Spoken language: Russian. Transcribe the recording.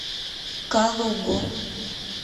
калугу